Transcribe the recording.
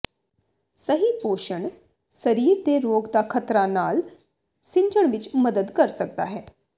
ਸਹੀ ਪੋਸ਼ਣ ਸਰੀਰ ਦੇ ਰੋਗ ਦਾ ਖ਼ਤਰਾ ਨਾਲ ਸਿੱਝਣ ਵਿਚ ਮਦਦ ਕਰ ਸਕਦਾ ਹੈ